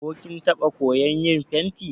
Ko kin taɓa koyar yin fenti?